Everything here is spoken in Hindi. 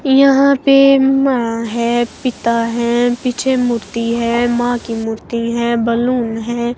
यहां पे माँ है पिता है पीछे मूर्ति है मां की मूर्ति है बैलून है।